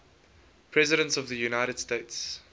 presidents of the united states